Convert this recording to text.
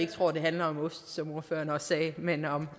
tror at det handler om ost som ordføreren sagde men om